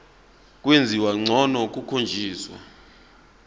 kwenziwa ngcono kukhonjiswa